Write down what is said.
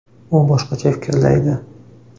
U boshqacha fikrlaydi.